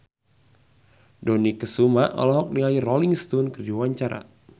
Dony Kesuma olohok ningali Rolling Stone keur diwawancara